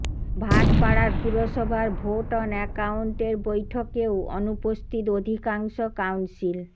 ভাটপাড়ার পুরসভার vote on অ্যাকাউন্টের বৈঠকেও অনুপস্থিত অধিকাংশ কাউন্সিল